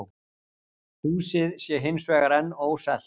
Húsið sé hins vegar enn óselt